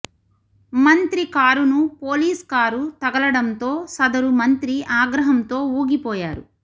మంత్రి కారును police car తగలడంతో సదరు మంత్రి ఆగ్రహంతో ఊగిపోయారు